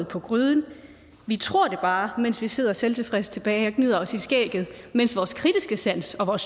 på gryden vi tror det bare mens vi sidder selvtilfredse tilbage og gnider os i skægget mens vores kritiske sans og